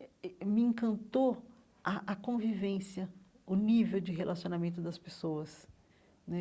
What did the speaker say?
eh eh eh me encantou a a convivência, o nível de relacionamento das pessoas né.